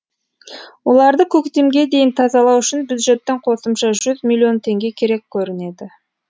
оларды көктемге дейін тазалау үшін бюджеттен қосымша жүз миллион теңге керек көрінеді